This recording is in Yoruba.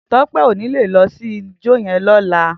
Tope ó ni lé lò si ijò yèn lòlá